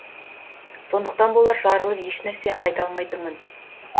сондықтан болар жарылып ешнәрсе айта алмайтынмын